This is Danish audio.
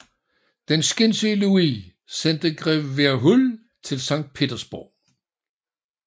Den skinsyge Louis sendte grev Verhuell til Sankt Petersborg